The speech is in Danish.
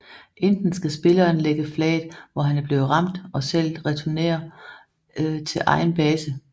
Enten skal spilleren lægge flaget hvor han er blevet ramt og selv returnere til egen base